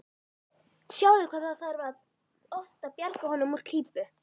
Sjáðu hvað það þarf oft að bjarga honum úr klípu.